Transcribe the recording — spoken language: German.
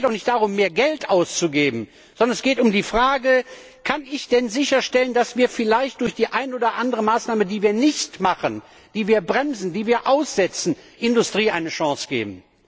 Es geht auch nicht darum, mehr Geld auszugeben, sondern es geht um die Frage Kann ich sicherstellen, dass wir vielleicht durch die eine oder andere Maßnahme, die wir nicht treffen, die wir bremsen, die wir aussetzen, der Industrie eine Chance geben?